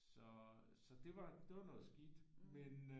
Så så det var noget skidt med øh